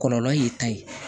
Kɔlɔlɔ y'i ta ye